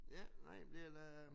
Ja nej det er da